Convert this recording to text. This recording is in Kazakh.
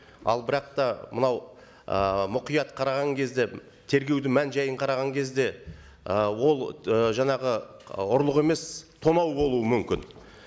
ал бірақ та мынау ы мұқият қараған кезде тергеудің мән жайын қараған кезде ы ол ы жаңағы ы ұрлық емес тонау болуы мүмкін